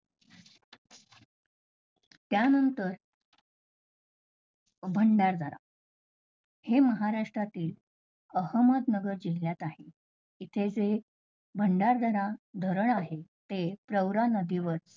त्यानंतर भंडारदारा, हे महाराष्ट्रातील अहमदनगर जिल्ह्यात आहे. इथे जे भंडारदरा जे धरण आहे ते गौरा नदीवर